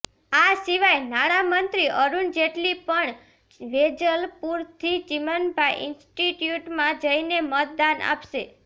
આ સિવાય નાણાં મંત્રી અરુણ જેટલી પણ વેજલપુરથી ચીમનભાઇ ઇન્સ્ટીટ્યૂટમાં જઇને મતદાન આપશે